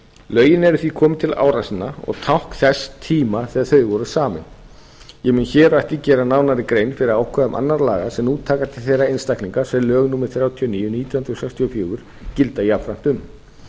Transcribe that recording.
lögin eru því komin til ára sinna og tákn þess tíma þegar þau voru samin ég mun hér á eftir gera nánari grein fyrir ákvæðum annarra laga sem nú taka til þeirra einstaklinga sem lög númer þrjátíu og níu nítján hundruð sextíu og fjögur gilda jafnframt um